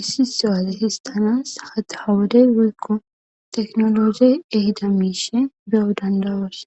issi so7aze histanas hadhawodey woykko teknologey ehida miishe beyo dandawoos